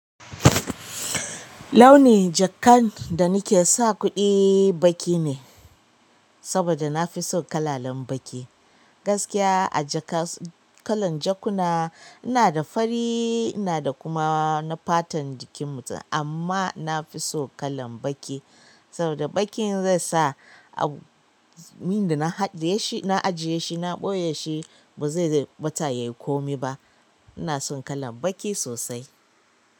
Launi jakan da nake sa kuɗi baƙi ne, saboda na fi son kalalen baƙi. Gaskiya a jaka kalan jakuna ina da fari, ina da kuma na fatan jikin mutum amma na fi so kalan baƙi. Saboda baƙin zai sa abin da na ajiye shi, na ɓoye shi ba zai ɓata yai komi ba. Ina son kalan baƙi sosai.